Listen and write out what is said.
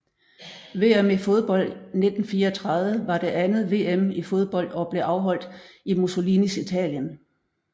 VM i fodbold 1934 var det andet VM i fodbold og blev afholdt i Mussolinis Italien